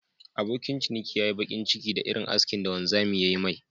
Abokin ciniki ya nmyi bakin ciki da Irin askin da wanzamin ya Yi me..